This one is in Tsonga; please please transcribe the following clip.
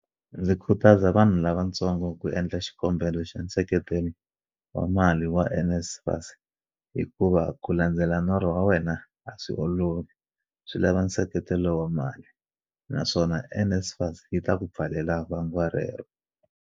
Ndzi khutaza vanhu lavantsongo ku endla xikombelo xa nseketelo wa mali wa NSFAS hikuva ku landzela norho wa wena a swi olovi, swi lava nseketelo wa mali, naswona NSFAS yi ta ku pfalela vangwa rero.